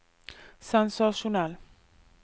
sensasjonell